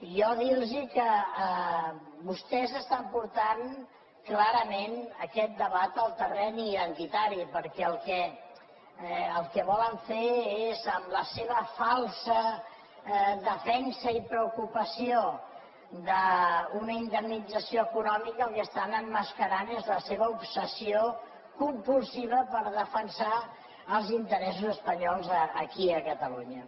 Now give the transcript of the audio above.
jo dir los que vostès estan portant clarament aquest debat al terreny identitari perquè el que volen fer és amb la seva falsa defensa i preocupació d’una indemnització econòmica el que estan emmascarant és la seva obsessió compulsiva per defensar els interessos espanyols aquí a catalunya